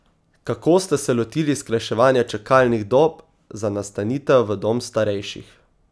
Kako ste se lotili skrajševanja čakalnih dob za nastanitev v dom starejših?